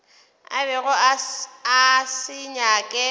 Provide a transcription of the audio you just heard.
a bego a se nyaka